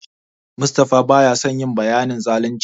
Mustapha baya son nayi bayanin zalunci.